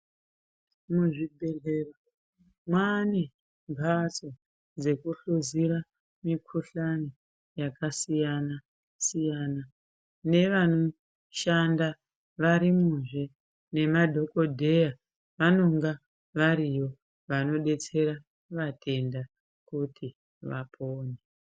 Muzvibhendleya mwaane mbatso dzekuhluzira mikhuhlani yakasiyana siyana. Nevanoshanda varimwo zve nemadhokodheya vanonga variyo vanodetsera vatenda kuti vapone.